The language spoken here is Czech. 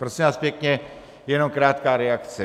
Prosím vás pěkně, jenom krátká reakce.